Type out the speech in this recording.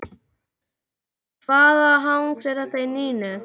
Hvaða hangs er þetta í Nínu?